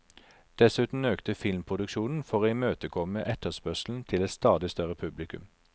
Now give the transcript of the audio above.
Dessuten økte filmproduksjonen for å imøtekomme etterspørselen til et stadig større publikum.